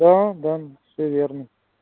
да да все верно